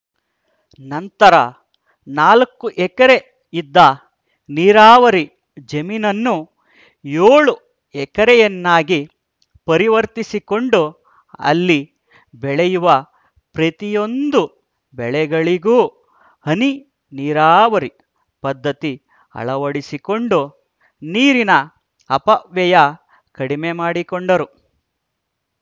ನಂತರ ನಾಲ್ಕು ಎಕರೆ ಇದ್ದ ನೀರಾವರಿ ಜಮೀನನ್ನು ಏಳು ಎಕರೆಯನ್ನಾಗಿ ಪರಿವರ್ತಿಸಿಕೊಂಡು ಅಲ್ಲಿ ಬೆಳೆಯುವ ಪ್ರತಿಯೊಂದು ಬೆಳೆಗಳಿಗೂ ಹನಿ ನೀರಾವರಿ ಪದ್ಧತಿ ಅಳವಡಿಸಿಕೊಂಡು ನೀರಿನ ಅಪವ್ಯಯ ಕಡಿಮೆ ಮಾಡಿಕೊಂಡರು